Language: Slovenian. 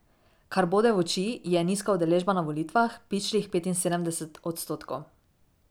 Kar bode v oči je nizka udeležba na volitvah, pičlih petinsedemdeset odstotkov.